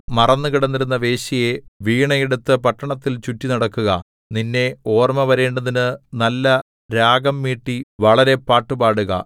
മറന്നു കിടന്നിരുന്ന വേശ്യയേ വീണയെടുത്തു പട്ടണത്തിൽ ചുറ്റിനടക്കുക നിന്നെ ഓർമ്മ വരേണ്ടതിന് നല്ല രാഗം മീട്ടി വളരെ പാട്ടുപാടുക